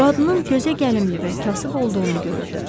Qadının gözəgəlimli və kasıb olduğunu görürdü.